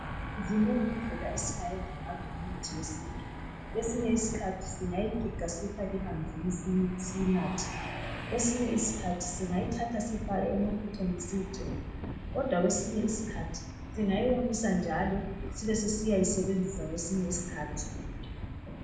Zinengi indlela esingayenza ngayo imithi yesintu kwesinye usikhathi singayi giga siyifake emanzi siyinathe kwesinye isikhathi singayi faka emafutheni siyigcobe kodwa kwesisinye usikhathi singayiwomisa njalo siyisebenzise kwesinye isikhathi.